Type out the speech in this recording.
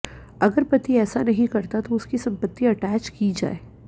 अगर पति ऐसा नहीं करता तो उसकी संपत्ति अटैच की जाए